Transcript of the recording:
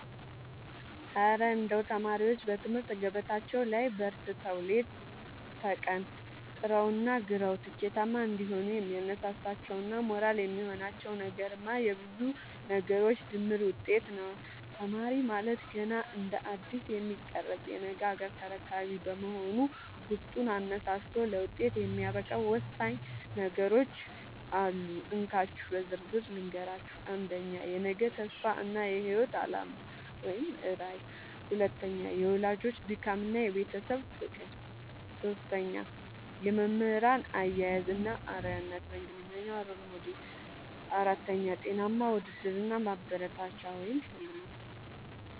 እረ እንደው ተማሪዎች በትምህርት ገበታቸው ላይ በርትተው፣ ሌት ከቀን ጥረውና ግረው ስኬታማ እንዲሆኑ የሚያነሳሳቸውና ሞራል የሚሆናቸው ነገርማ የብዙ ነገሮች ድምር ውጤት ነው! ተማሪ ማለት ገና እንደ አዲስ የሚቀረጽ የነገ ሀገር ተረካቢ በመሆኑ፣ ውስጡን አነሳስቶ ለውጤት የሚያበቃው ወሳኝ ነገሮች አሉ፤ እንካችሁ በዝርዝር ልንገራችሁ - 1. የነገ ተስፋ እና የህይወት አላማ (ራዕይ) 2. የወላጆች ድካምና የቤተሰብ ፍቅር 3. የመምህራን አያያዝ እና አርአያነት (Role Model) 4. ጤናማ ውድድር እና ማበረታቻ (ሽልማት)